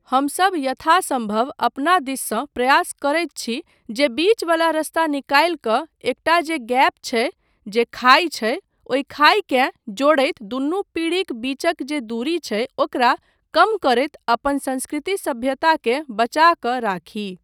हमसब यथासम्भव अपना दिससँ प्रयास करैत छी जे बीच वला रस्ता निकालि कऽ एकटा जे गैप छै, जे खाइ छै, ओहि खाइकेँ जोड़ैत दुनू पीढ़ीक बीचक जे दूरी छै ओकरा कम करैत अपन संस्कृति सभ्यता केँ बचा कऽ राखी।